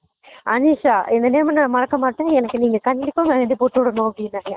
அனிஷா இந்த name ஆ நான் மறக்க மாட்டேன் எனக்கு நீங்க கண்டிப்பா mehandi போட்டு விடனும் அப்படினாங்க